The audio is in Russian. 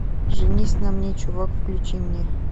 женись на мне чувак включи мне